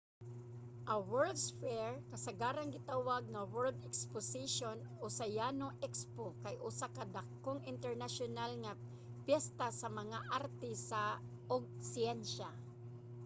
a world's fair kasagarang gitawag nga world exposition o sa yano expo kay usa ka dakong internasyonal nga piyesta sa mga arte ug siyensya